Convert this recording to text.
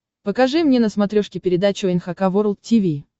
покажи мне на смотрешке передачу эн эйч кей волд ти ви